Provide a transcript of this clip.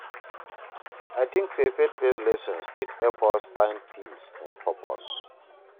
I tink sey faith-based lessons fit help us find peace and purpose